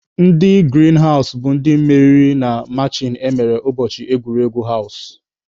Ndị girin hawụs bụ ndị meriri na machin emere ụbọchị egwuregwu hawụs.